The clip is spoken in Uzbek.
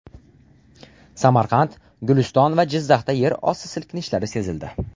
Samarqand, Guliston va Jizzaxda yer osti silkinishlari sezildi.